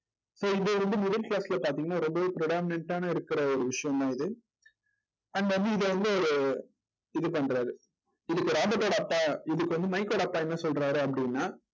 இப்ப இது வந்து முதல் class ல வந்து பார்த்தீங்கன்னா ரொம்பவே predominant ஆ இருக்கிற ஒரு விஷயம்தான் இது and வந்து இது வந்து ஒரு இது பண்றாரு. இதுக்கு ராபர்ட்டோட அப்பா இதுக்கு வந்து மைக் ஓட அப்பா என்ன சொல்றாரு அப்படின்னா